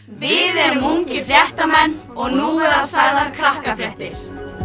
við erum ungir fréttamenn og nú verða sagðar Krakkafréttir